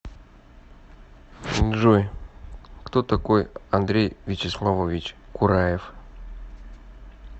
джой кто такой андрей вячеславович кураев